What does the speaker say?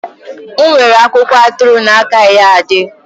M’we were akwụkwọ atụrụ n’Iya Ade.